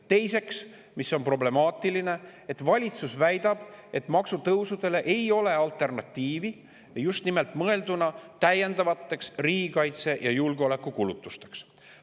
Teiseks on problemaatiline, et valitsus väidab, nagu maksutõusudele ei oleks alternatiivi, just nimelt mõeldes täiendavatele riigikaitse‑ ja julgeolekukulutustele.